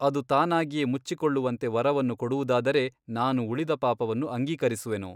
ಅದು ತಾನಾಗಿಯೇ ಮುಚ್ಚಿಕೊಳ್ಳುವಂತೆ ವರವನ್ನು ಕೊಡುವುದಾದರೆ ನಾನು ಉಳಿದ ಪಾಪವನ್ನು ಅಂಗೀಕರಿಸುವೆನು.